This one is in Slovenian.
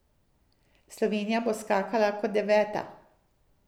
Slovenija bo skakala kot deveta.